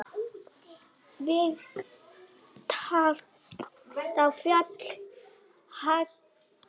Við tagl á fjalli hagl.